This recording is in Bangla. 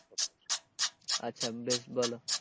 আচ্ছা বেশ বলো,